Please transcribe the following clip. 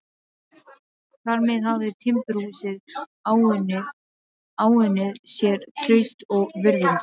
Þar með hafði timburhúsið áunnið sér traust og virðingu.